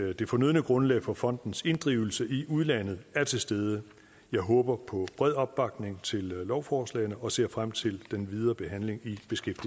at det fornødne grundlag for fondens inddrivelse i udlandet er til stede jeg håber på bred opbakning til lovforslagene og ser frem til den videre behandling i